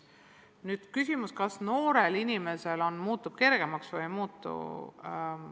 Nüüd küsimus, kas noorel inimesel läheb elu kergemaks või ei lähe.